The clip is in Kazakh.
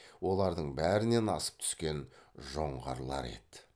олардың бәрінен асып түскен жоңғарлар еді